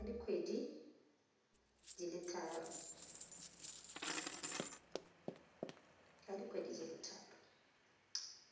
ka dikgwedi di le tharo